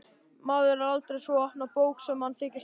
Maðurinn er aldrei sú opna bók sem hann þykist vera.